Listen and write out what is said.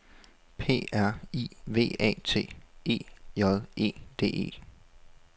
P R I V A T E J E D E